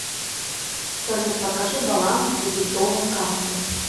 салют покажи баланс дебетовой карты